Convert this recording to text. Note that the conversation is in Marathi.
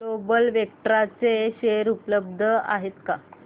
ग्लोबल वेक्ट्रा चे शेअर उपलब्ध आहेत का